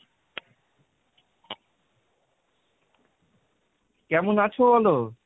কেমন আছো বলো?